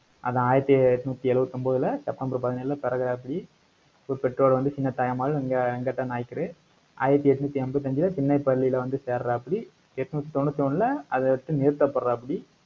அதான் ஆயிரத்தி எட்நூத்தி எழுபத்தி ஒன்பதுல செப்டம்பர் பதினேழுல பிறக்குறாப்டி இவர் பெற்றோர் வந்து சின்னத்தாய் அம்மாள், வெங்க~ வெங்கட்ட நாயக்கரு. ஆயிரத்தி எட்நூத்தி எண்பத்தி அஞ்சுல, திண்ணைப் பள்ளியில வந்து சேருறாப்புடி எட்நூத்தி தொண்ணூத்தி ஒண்ணுல, அதை வச்சு நிறுத்தப்படுறாப்படி.